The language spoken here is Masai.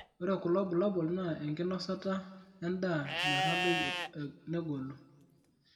ore kulo bulabol naa enkinosata endaa metadoi negolu .